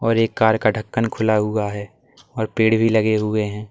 ये कार का ढक्कन भी खुला हुआ है और पेड़ भी लगे हुए हैं।